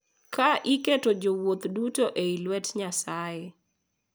Ka iketo jowuoth duto e lwet Nyasaye.